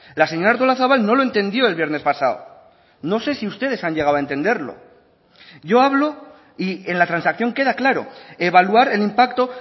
la señora artolazabal no lo entendió el viernes pasado no sé si ustedes han llegado a entenderlo yo hablo y en la transacción queda claro evaluar el impacto